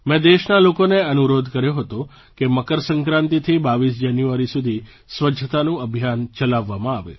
મેં દેશના લોકોને અનુરોધ કર્યો હતો કે મકરસંક્રાંતિથી 22 જાન્યુઆરી સુધી સ્વચ્છતાનું અભિયાન ચલાવવામાં આવે